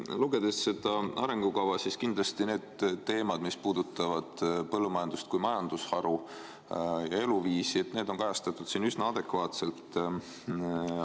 Lugedes seda arengukava võib näha, et teemad, mis puudutavad põllumajandust kui majandusharu ja eluviisi, on siin kajastatud üsna adekvaatselt.